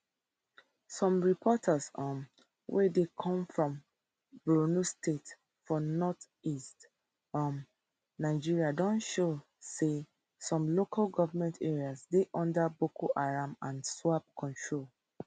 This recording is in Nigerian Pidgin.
some reports um wey dey come from borno state for northeast um nigeria don show say some local goment areas dey under boko haram and iswap control